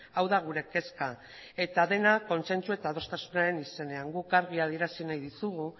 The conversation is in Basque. hau da gure kezka eta dena kontzentzu eta adostasunaren izenean guk argi adierazi nahi dizugu